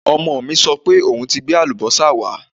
Ọmọ mi sọ pé òun ti gbé àlùbọ́sà wá